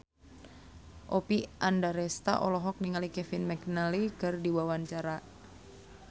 Oppie Andaresta olohok ningali Kevin McNally keur diwawancara